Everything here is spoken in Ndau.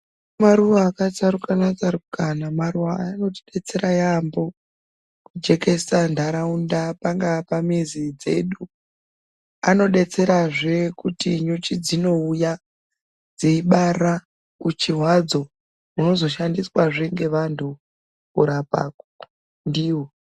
Maruwa akatsarukanatsarukana maruwa aya anotidetsera yamhoo kujekesa nharaunda pangaa pamizi dzedu anodetserazve kuti nyuchi dzinouya dzeibara uchi hwadzo hunozoshandiswazve ngeanhu kurapa ndiwo.